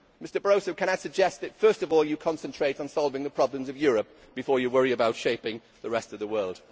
Mr Barroso, can I suggest that first of all you concentrate on solving the problems of Europe before you worry about shaping the rest of the world?